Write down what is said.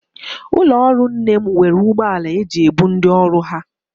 Ụlọọrụ nne m nwere ụgbọala e ji ebu ndị ọrụ ha